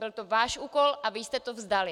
Byl to váš úkol a vy jste to vzdali.